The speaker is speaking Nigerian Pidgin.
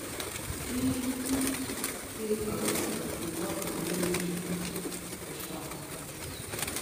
im still um dey work for di military or dem don pursue am